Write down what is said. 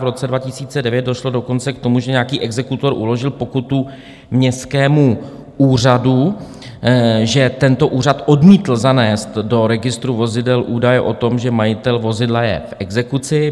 V roce 2009 došlo dokonce k tomu, že nějaký exekutor uložil pokutu městskému úřadu, že tento úřad odmítl zanést do registru vozidel údaje o tom, že majitel vozidla je v exekuci.